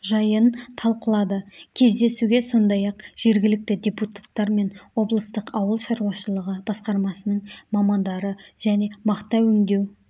жайын талқылады кездесуге сондай-ақ жергілікті депутаттар мен облыстық ауыл шаруашылығы басқармасының мамандары және мақта өңдеу